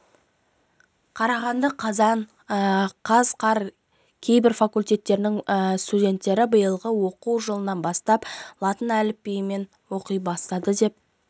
қарағанды қазан қаз қар кейбір факультеттерінің студенттері биылғы оқу жылынан бастап латын әліпбиін оқи бастады деп